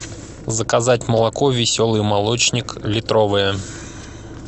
заказать молоко веселый молочник литровое